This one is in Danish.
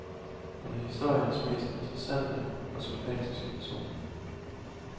Hun er historiens mest interessante og sympatiske person.